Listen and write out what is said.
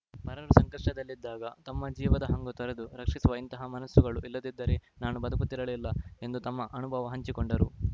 ಪರರು ಸಂಕಷ್ಟದಲ್ಲಿದ್ದಾಗ ತಮ್ಮ ಜೀವದ ಹಂಗು ತೊರೆದು ರಕ್ಷಿಸುವ ಇಂತಹ ಮನಸ್ಸುಗಳು ಇಲ್ಲದಿದ್ದರೆ ನಾನೂ ಬದುಕುತ್ತಿರಲಿಲ್ಲ ಎಂದು ತಮ್ಮ ಅನುಭವ ಹಂಚಿಕೊಂಡರು